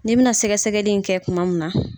Ni bɛ na sɛgɛsɛgɛli kɛ kuma min na.